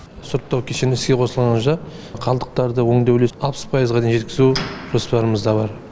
сұрыптау кешені іске қосылғанша жағдайда қалдықтарды өңдеу үлесін алпыс пайызға дейін жеткізу жоспарымызда бар